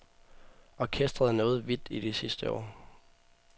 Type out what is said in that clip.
Orkestret er nået vidt i de sidste år.